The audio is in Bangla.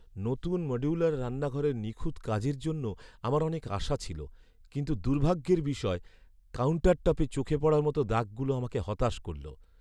নতুন মডিউলার রান্নাঘরের নিখুঁত কাজের জন্য আমার অনেক আশা ছিল, কিন্তু দুর্ভাগ্যের বিষয়, কাউন্টারটপে চোখে পড়ার মতো দাগগুলো আমাকে হতাশ করল।